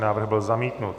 Návrh byl zamítnut.